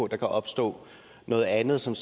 der kan opstå noget andet som